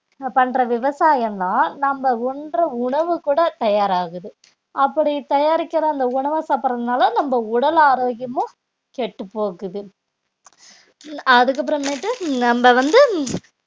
பண்ற விவசாயம்தான் நம்ம உண்ற உணவு கூட தயாராகுது அப்படி தயாரிக்கிற அந்த உணவ சாப்பிடுறதுனால நம்ம உடல் ஆரோக்கியமும் கெட்டுப்போகுது அதுக்கப்புறமேட்டு நம்ம வந்து